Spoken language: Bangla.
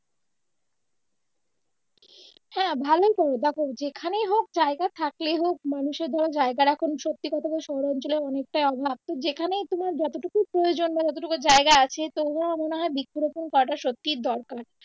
হ্যাঁ ভালোই করো দেখো যেখানেই হোক জায়গা থাকলেই হোক মানুষের ধরো জায়গার এখন সত্যি কথা হলো শহর অঞ্চলে অনেকটাই অভাব তো যেখানেই তুমি যতটুকু প্রয়োজন বা যতটুকু জায়গা আছে তোমরা মনে হয় বৃক্ষ রোপন করাটা সত্যিই দরকার